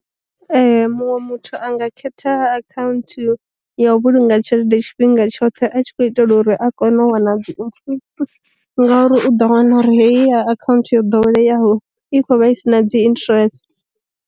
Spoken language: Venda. Ee muṅwe muthu anga khetha akhaunthu ya u vhulunga tshelede tshifhinga tshoṱhe a tshi khou itela uri a kone u wana dzi ngauri u ḓo wana uri heyi ya akhaunthu yo ḓoweleyaho i kho vha isina dzi interest.